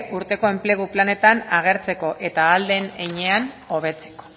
urteko enplegu planetan agertzeko eta ahal den heinean hobetzeko